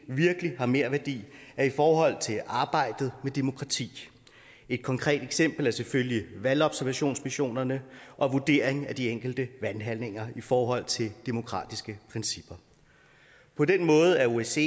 virkelig har merværdi er i forhold til arbejdet med demokrati et konkret eksempel er selvfølgelig valgobservationsmissionerne og vurderingen af de enkelte valghandlinger i forhold til demokratiske principper på den måde er osce